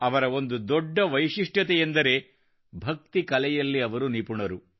ಅವರ ಒಂದು ದೊಡ್ಡ ವೈಶಿಷ್ಟ್ಯತೆಯೆಂದರೆ ಭಕ್ತಿ ಕಲೆಯಲ್ಲಿ ಅವರು ನಿಪುಣರು